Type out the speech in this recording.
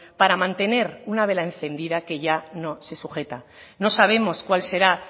para mantener una vela encendida que ya no se sujeta no sabemos cuál será